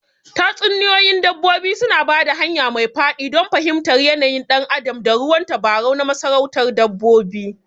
Tatsuniyoyin dabbobi suna ba da hanya mai daɗi don fahimtar yanayin ɗan adam ta ruwan tabarau na masarautar dabbobi.